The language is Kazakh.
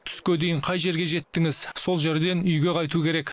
түске дейін қай жерге жеттіңіз сол жерден үйге қайту керек